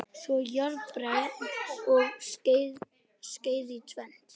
Þvoið jarðarberin og skerið í tvennt.